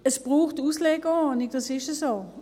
Es braucht eine Auslegeordnung, das ist so.